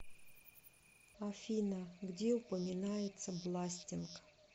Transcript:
афина где упоминается бластинг